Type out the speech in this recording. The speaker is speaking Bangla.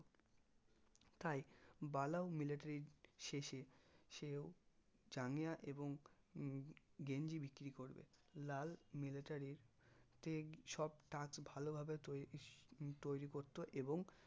তাই বালাও military র শেষে সেও জাঙ্গিয়া এবং উম গেঞ্জি বিক্রি করবে লাল military র তে সব ভালোভাবে তৈরী করতো এবং